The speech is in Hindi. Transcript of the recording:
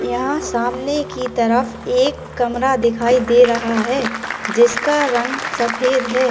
यहां सामने की तरफ एक कमरा दिखाई दे रहा है जिसका रंग सफेद है।